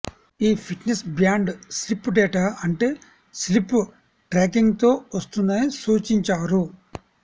ఈ fitness band sleep data అంటే sleep ట్రాకింగ్తో వస్తుందని సూచించారు